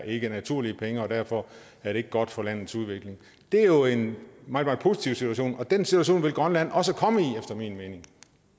ikke er naturlige penge og derfor er det ikke godt for landets udvikling det er jo en meget meget positiv situation og den situation vil grønland også komme i efter min mening